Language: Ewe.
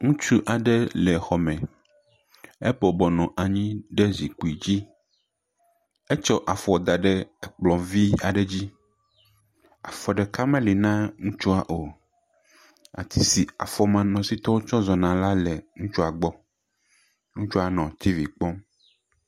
Ŋutsu aɖe le xɔ me me. Ebɔbɔnɔ anyi ɖe zikpui dzi. Etsɔ afɔ da ɖe zikpui vi aɖe dzi. Afɔ ɖeka meli na ŋutsua o. Ati si afɔmanɔsitɔwo tsɔ zɔna la le ŋutsua gbɔ. Ŋutsua nɔ tivi kpɔm.